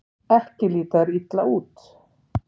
Ekki líta þær illa út.